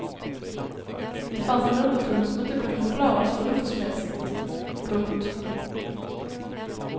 Det fanns en underton som inte kunde förklaras förnuftsmässigt. punkt